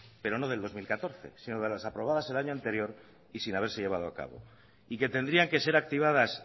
pero no de dos mil catorce sino de las aprobadas el año anterior y sin haberse llevado a cabo y que tendrían que ser activadas